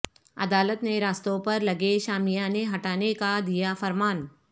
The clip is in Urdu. عدالت نے راستوں پر لگے شامیانے ہٹانے کا دیا فرمان